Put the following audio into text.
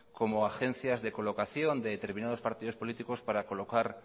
como agencias de colocación de determinados partidos políticos para colocar